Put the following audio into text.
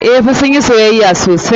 Eh fa, sun yi soyayya sosai.